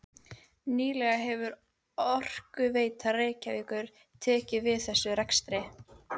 Nýlega hefur Orkuveita Reykjavíkur tekið við þessum rekstri.